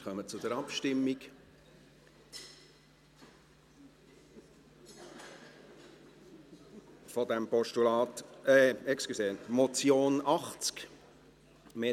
Wir kommen zur Abstimmung über das Postulat – Entschuldigung, die Motion, Traktandum 80: «